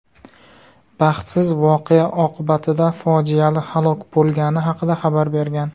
baxtsiz voqea oqibatida fojiali halok bo‘lgani haqida xabar bergan.